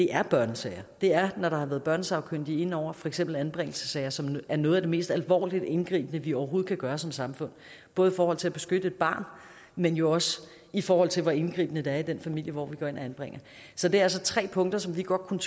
er børnesager det er når der har været børnesagkyndige ind over for eksempel anbringelsessager som er noget af det mest alvorlige og indgribende vi overhovedet kan gøre som samfund både i forhold til at beskytte et barn men jo også i forhold til hvor indgribende det er i den familie hvor vi går ind og anbringer så det er altså tre punkter som vi godt kunne